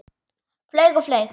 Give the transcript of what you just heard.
Flaug og flaug.